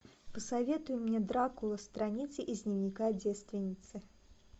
посоветуй мне дракула страницы из дневника девственницы